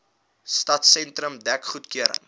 stadsentrum dek goedgekeur